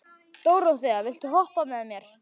Dóróþea, viltu hoppa með mér?